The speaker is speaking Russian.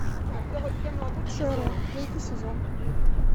шерлок третий сезон